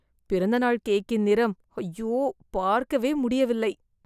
பிறந்தநாள் கேக்கின் நிறம், ஐயோ, பார்க்கவே முடியவில்லை.